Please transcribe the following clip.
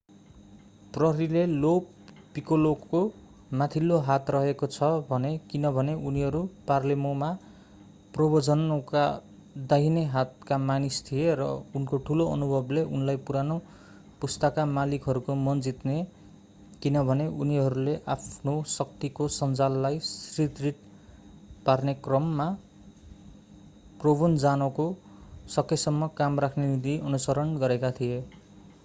प्रहरीले लो पिक्कोलोको माथिल्लो हात रहेको छ भने किनभने उनी पालेर्मोमा प्रोभेन्जानोको दाहिने हातका मानिस थिए र उनको ठूलो अनुभवले उनलाई पुरानो पुस्ताका मालिकहरूको मन जिते किनभने उनीहरूले आफ्नो शक्तिको सञ्जाललाई सुदृढ पार्ने क्रममा प्रोभेन्जानोको सकेसम्म कम राख्ने नीति अनुसरण गरेका थिए